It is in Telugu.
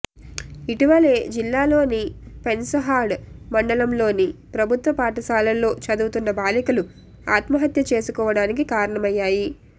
ఇటీవలె జిల్లాలోని పెన్పహాడ్ మండలంలోని ప్రభుత్వ పాఠశాలలో చదువుతున్న బాలికలు ఆత్మహత్య చేసుకోడానికి కారణమయ్యాయి